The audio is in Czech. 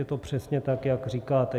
Je to přesně tak, jak říkáte.